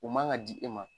U man ka di e ma